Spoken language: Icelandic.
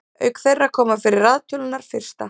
auk þeirra koma fyrir raðtölurnar fyrsta